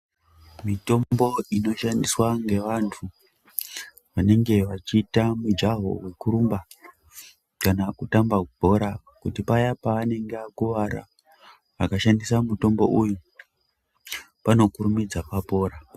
Mitombo inoshandiswa ngevantu vanenge vachiita mijaho yekurumba kana kutamba bhora kuti paya pavanenge vakuwara vakashandisa mutombo uyu vanokurumidza vapora.